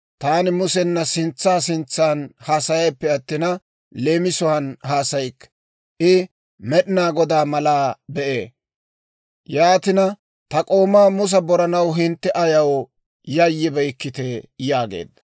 Taani Musena sintsa sintsaan haasayayippe attina, leemisuwaan haasayikke. I Med'inaa Godaa malaa be'ee. Yaatina ta k'oomaa Musa boranaw hintte ayaw yayyibeykkitee?» yaageedda.